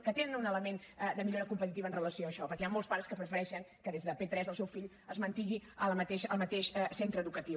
que tenen un element de millora competitiva amb relació a això perquè hi han molts pares que prefereixen que des de p3 el seu fill es mantingui al mateix centre educatiu